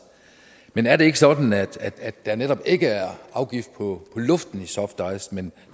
men er det ikke sådan at der netop ikke er afgift på luften i softice men